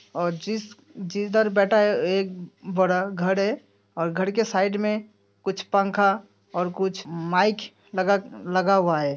और जिस जिधर बैठा है एक बड़ा घर है और घर के साइड में कुछ पंखा और कुछ माइक लगा लगा हुआ है।